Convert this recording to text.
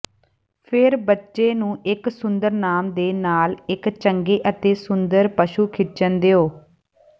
ਫਿਰ ਬੱਚੇ ਨੂੰ ਇਕ ਸੁੰਦਰ ਨਾਮ ਦੇ ਨਾਲ ਇਕ ਚੰਗੇ ਅਤੇ ਸੁੰਦਰ ਪਸ਼ੂ ਖਿੱਚਣ ਦਿਓ